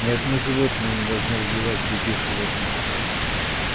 ни одно животное не должно убивать других животных